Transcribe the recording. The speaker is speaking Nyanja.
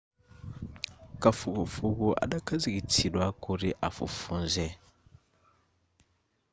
kafukufuku adakhazikitsidwa kuti afufuze